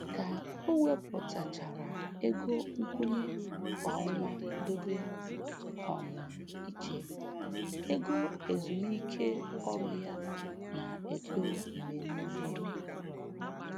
Ka o wepụtachara ego nkwụnye kwa ọnwa dobe um iche, ego ezumiike ọrụ ya na-eto mgbe niile.